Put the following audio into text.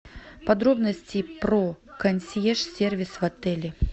подробности про консьерж сервис в отеле